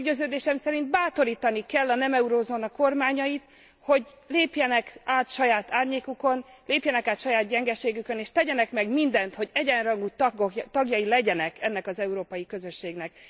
Meggyőződésem szerint bátorítani kell a nem eurózóna kormányait, hogy lépjenek át saját árnyékukon, lépjenek át saját gyengeségükön, és tegyenek meg mindent, hogy egyenrangú tagjai legyenek ennek az európai közösségnek.